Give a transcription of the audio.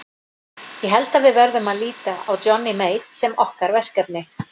Ég held að við verðum að líta á Johnny Mate sem okkar verkefni.